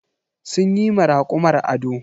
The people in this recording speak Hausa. Sun yi ma rakumar ado.